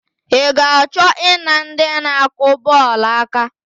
I ga-achọ I na ndị na-akụ bọọlụ aka?